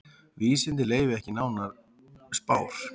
Vísindin leyfi ekki neinar spár.